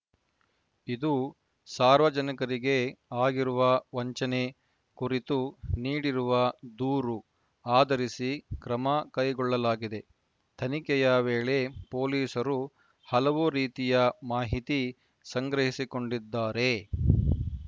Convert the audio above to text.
ಇದು ಸಾರ್ವಜನಿಕರಿಗೆ ಆಗಿರುವ ವಂಚನೆ ಕುರಿತು ನೀಡಿರುವ ದೂರು ಆಧರಿಸಿ ಕ್ರಮ ಕೈಗೊಳ್ಳಲಾಗಿದೆ ತನಿಖೆಯ ವೇಳೆ ಪೊಲೀಸರು ಹಲವು ರೀತಿಯ ಮಾಹಿತಿ ಸಂಗ್ರಹಿಸಿಕೊಂಡಿದ್ದಾರೆ